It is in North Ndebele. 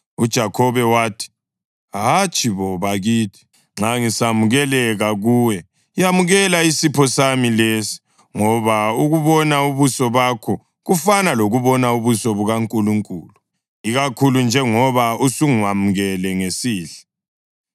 UJakhobe wathi, “Hatshi bo, bakithi. Nxa ngisamukeleka kuwe yamukela isipho sami lesi. Ngoba ukubona ubuso bakho kufana lokubona ubuso bukaNkulunkulu, ikakhulu njengoba usungamukele ngesihle.